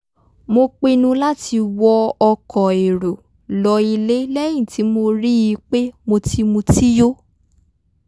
mo pinnu láti wọ ọkọ̀ èrò lọ ilé lẹ́yìn tí mo rí i pé mo ti mutí yó